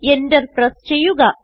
Enter press ചെയ്യുക